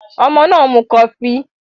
Àwọn ọmọ náà ń mu kọfí